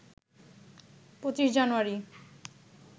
২৫ জানুয়ারি